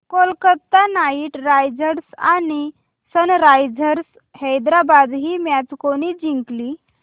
Kolkata Knight Riders आणि Sunrisers Hyderabad ही match कोणी जिंकली